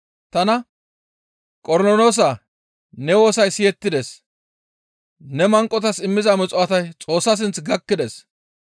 tana, ‹Qornoloosaa! Ne woosay siyettides; ne manqotas immiza muxuwaatay Xoossa sinth gakkides.